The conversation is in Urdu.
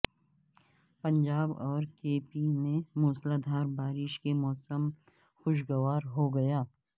پنجاب اور کے پی میں موسلاد ھار بارش سے موسم خوشگوار ہوگیا